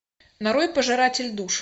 нарой пожиратель душ